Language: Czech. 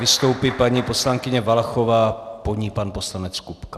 Vystoupí paní poslankyně Valachová, po ní pan poslanec Kupka.